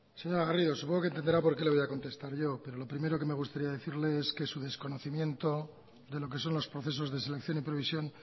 señora garrido supongo que entenderá por qué le voy a contestar yo pero lo primero que me gustaría decirle es que su desconocimiento de lo que son los procesos de selección y previsión